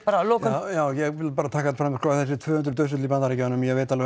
að lokum já ég vil taka fram að þessi tvö hundruð dauðsföll í Bandaríkjunum ég veit